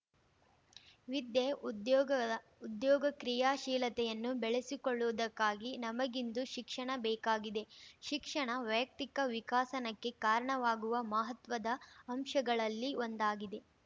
ವಿದ್ಯೆ ಉದ್ಯೋಗಉದ್ಯೋಗ ಕ್ರಿಯಾಶೀಲತೆಯನ್ನು ಬೆಳೆಸಿಕೊಳ್ಳುವುದಕ್ಕಾಗಿ ನಮಗಿಂದು ಶಿಕ್ಷಣ ಬೇಕಾಗಿದೆ ಶಿಕ್ಷಣ ವಯಕ್ತಿಕ ವಿಕಸನಕ್ಕೆ ಕಾರಣವಾಗುವ ಮಹತ್ವದ ಅಂಶಗಳಲ್ಲಿ ಒಂದಾಗಿದೆ